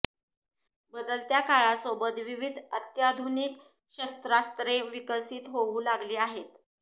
बदलत्या काळासोबत विविध अत्याधुनिक शस्त्रास्त्रे विकसित होऊ लागली आहेत